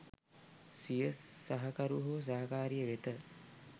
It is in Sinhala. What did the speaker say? සිය සහකරු හෝ සහකාරිය වෙත